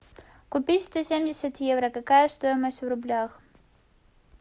купить сто семьдесят евро какая стоимость в рублях